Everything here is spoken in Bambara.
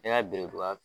Ne ka biriduga